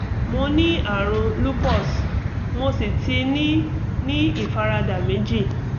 mo ní àrùn lupus mo sì ti ní ní ìfaradà méjì